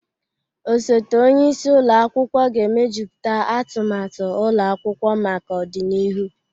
Osote onye isi ụlọ akwụkwọ ga-emejuputa atumatu ụlọ akwụkwọ maka ọdịnihu.